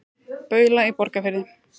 Baula í Borgarfirði.